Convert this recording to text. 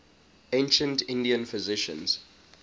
ancient indian physicians